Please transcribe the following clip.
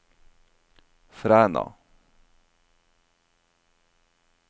Fræna